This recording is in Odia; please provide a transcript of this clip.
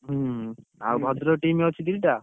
ହୁଁ। ଆଉ ଭଦ୍ରକ team ଅଛି ଦିଟା?